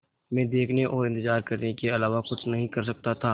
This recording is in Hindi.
मैं देखने और इन्तज़ार करने के अलावा कुछ नहीं कर सकता था